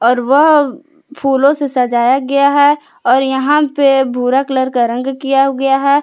और वह फूलों से सजाया गया है और यहां पे भूरा कलर का रंग किया गया है।